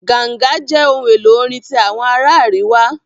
Ganga jẹ ohun elo orin ti awọn ara ariwa.